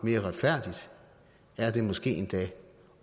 mere retfærdigt er det måske endda